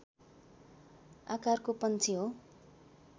आकारको पंक्षी हो